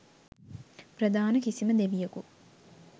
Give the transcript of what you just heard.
ප්‍රධාන කිසිම දෙවියකු